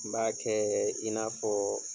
N b'a kɛ i n'a fɔ